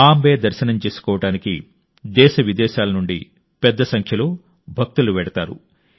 మా అంబే దర్శనం చేసుకోవడానికి దేశ విదేశాల నుండి పెద్ద సంఖ్యలో భక్తులు వెళ్తారు